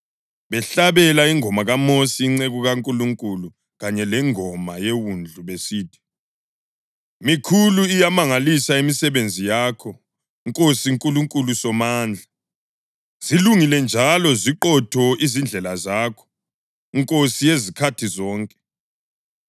behlabela ingoma kaMosi inceku kaNkulunkulu kanye lengoma yeWundlu besithi: “Mikhulu iyamangalisa imisebenzi yakho Nkosi Nkulunkulu Somandla. Zilungile njalo ziqotho izindlela zakho, Nkosi yezikhathi zonke.